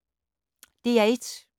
DR1